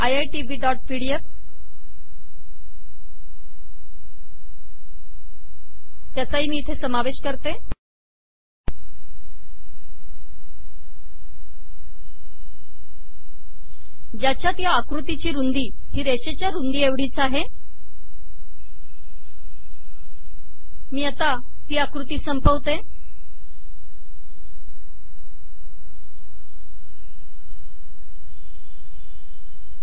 dot PDF